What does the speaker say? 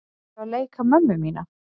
Ertu að leika mömmu mína?